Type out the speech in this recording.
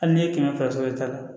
Hali n'i ye kɛmɛ fila sɔrɔ i ta la